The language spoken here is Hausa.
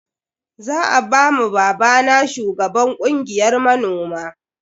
Za a ba ma babana shugaban kungiyar manoma.